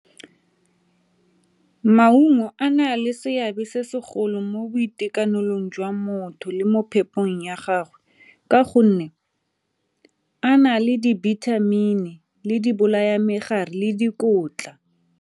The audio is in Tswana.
Maungo a na le seabe se segolo mo boitekanelong jwa motho le mo phepong ya gagwe ka gonne a na le dibithamini, le dibolaya-megare, le dikotla.